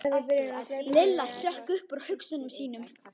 Lilla hrökk upp úr hugsunum sínum.